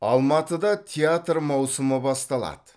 алматыда театр маусымы басталады